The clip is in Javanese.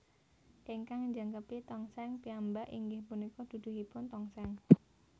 Ingkang njangkepi tongseng piyambak inggih punika duduhipun tongseng